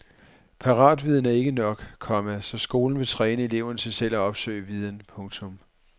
Paratviden er ikke nok, komma så skolen vil træne eleverne til selv at opsøge viden. punktum